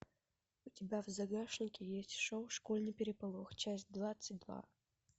у тебя в загашнике есть шоу школьный переполох часть двадцать два